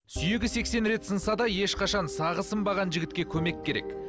сүйегі сексен рет сынса да ешқашан сағы сынбаған жігітке көмек керек